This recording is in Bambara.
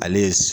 Ale ye